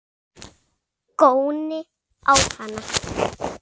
Góni á hana.